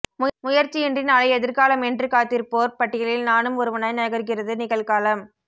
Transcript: முயற்ச்சியின்றி நாளை எதிர்காலமென்று காத்திருப்போர் பட்டியலில் நானும் ஒருவனாய் நகர்கிறது நிகழ்காலம்்்்்